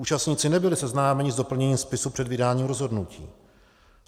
Účastníci nebyli seznámeni s doplněním spisu před vydáním rozhodnutí.